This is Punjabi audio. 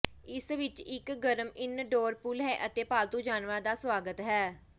ਇਸ ਵਿੱਚ ਇੱਕ ਗਰਮ ਇਨਡੋਰ ਪੂਲ ਹੈ ਅਤੇ ਪਾਲਤੂ ਜਾਨਵਰਾਂ ਦਾ ਸਵਾਗਤ ਹੈ